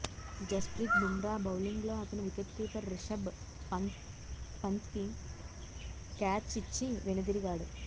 జస్ప్రీత్ బుమ్రా బౌలింగ్లో అతను wicket keeper Rishabh పంత్కి క్యాచ్ ఇచ్చి వెనుదిరిగాడు